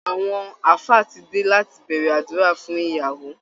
Àwọn ààfáà ti dé láti bẹ̀rẹ̀ àdúrà fún ìyàwó